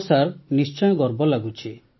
ହଁ ସାର୍ ନିଶ୍ଚୟ ଗର୍ବ ଲାଗୁଛି